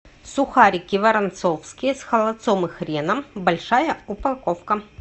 сухарики воронцовские с холодцом и хреном большая упаковка